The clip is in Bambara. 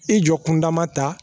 I jɔ kun dama ta